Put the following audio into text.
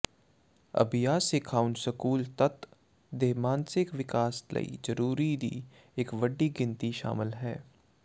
ਅਭਿਆਸ ਸਿਖਾਉਣ ਸਕੂਲ ਤੱਤ ਦੇ ਮਾਨਸਿਕ ਵਿਕਾਸ ਲਈ ਜ਼ਰੂਰੀ ਦੀ ਇੱਕ ਵੱਡੀ ਗਿਣਤੀ ਸ਼ਾਮਲ ਹੈ